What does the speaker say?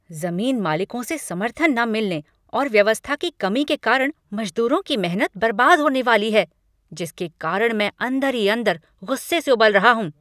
जमीन मालिकों से समर्थन न मिलने और व्यवस्था की कमी के कारण मजदूरों की मेहनत बर्बाद होने वाली है जिसके कारण मैं अंदर ही अंदर गुस्से से उबल रहा हूँ।